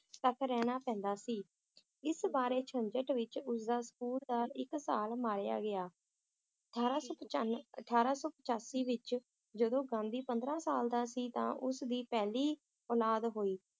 ਤਕ ਰਹਿਣਾ ਪੈਂਦਾ ਸੀ ਇਸ ਬਾਰੇ ਝੰਜਟ ਵਿਚ ਉਸਦਾ ਸਕੂਲ ਦਾ ਇੱਕ ਸਾਲ ਮਾਰਿਆ ਗਿਆ ਅਠਾਰਾਂ ਸੌ ਪਚਾਂਨ~ ਅਠਾਰਾਂ ਸੌ ਪਚਾਸੀ ਵਿਚ ਜਦੋ ਗਾਂਧੀ ਪੰਦਰਾਂ ਸਾਲ ਦਾ ਸੀ ਤਾਂ ਉਸ ਦੀ ਪਹਿਲੀ ਔਲਾਦ ਹੋਈ